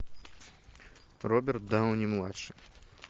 роберт дауни младший